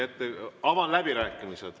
Avan läbirääkimised.